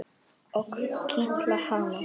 Og kitla hana.